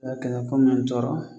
A kɛlɛ ko mɛn tɔɔrɔ